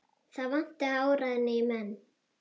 Það vantaði áræðni í menn.